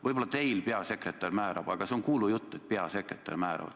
Võib-olla teil peasekretär määrab, aga see on kuulujutt, et peasekretär määrab.